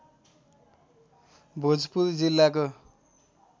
भोजपुर जिल्लाको